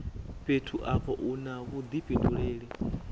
fhethu afho u na vhudifhinduleli